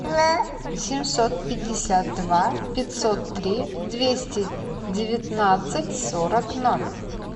семьсот пятьдесят два пятьсот три двести девятнадцать сорок ноль